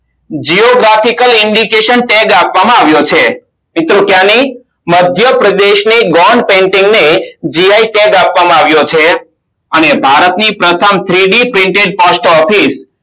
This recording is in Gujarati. jio graphical indication tag આપવામાં આવ્યો છેમિત્રો ત્યાંની મધ્યપ્રદેશ ની અને ભારતની પ્રથમ three D painting Post Office